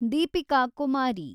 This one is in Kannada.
ದೀಪಿಕಾ ಕುಮಾರಿ